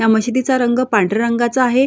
या मशिदीचा रंग पांढऱ्या रंगाचा आहे.